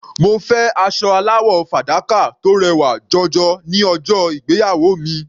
Mo fẹ́ aṣọ aláwọ̀ fàdákà tó rẹwà jọjọ ní ọjọ́ ìgbéyàwó mi.